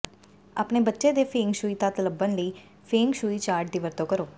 ਆਪਣੇ ਬੱਚੇ ਦੇ ਫੇਂਗ ਸ਼ੂਈ ਤੱਤ ਲੱਭਣ ਲਈ ਫੇਂਗ ਸ਼ੂਈ ਚਾਰਟ ਦੀ ਵਰਤੋਂ ਕਰੋ